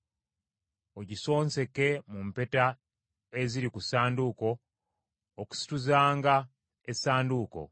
Ogisonseke mu mpeta eziri ku ssanduuko, okusituzanga essanduuko.